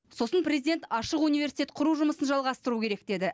сосын президент ашық университет құру жұмысын жалғастыру керек деді